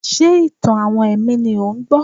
Ṣé ìtàn-àwọn ẹ̀mí ni ò ń gbọ́?